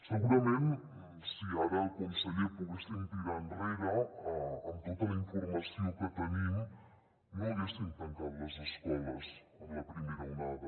segurament si ara conseller poguéssim tirar enrere amb tota la informació que tenim no haguéssim tancat les escoles en la primera onada